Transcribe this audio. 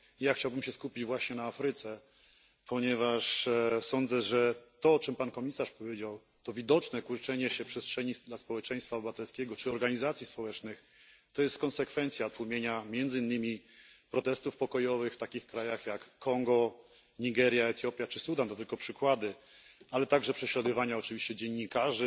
Ja chciałbym się skupić właśnie na Afryce, ponieważ sądzę, że to, o czym pan komisarz powiedział, to widoczne kurczenie się przestrzeni dla społeczeństwa obywatelskiego czy organizacji społecznych, to jest konsekwencja tłumienia między innymi protestów pokojowych w takich krajach jak Kongo, Nigeria, Etiopia czy Sudan ale także prześladowania oczywiście dziennikarzy